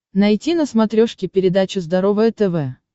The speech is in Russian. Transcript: найти на смотрешке передачу здоровое тв